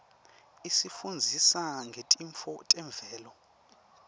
isifundzisa ngetintfo temvelo